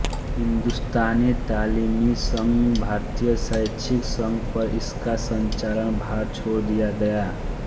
हिंदुस्तानी तालीमी संघ भारतीय शैक्षिक संघ पर इसका संचालनभार छोड़ दिया गया